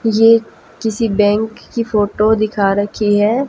ये किसी बैंक की फोटो दिखा रखी है।